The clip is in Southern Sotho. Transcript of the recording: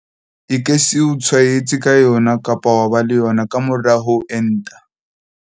E ke se o tshwaetse ka yona kapa wa ba le yona ka mora ho enta.